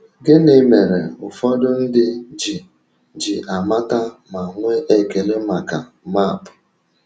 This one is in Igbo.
Gịnị mere ụfọdụ ndị ji ji amata ma nwee ekele maka maapụ?